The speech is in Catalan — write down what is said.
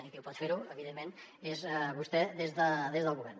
qui pot fer ho evidentment és vostè des del govern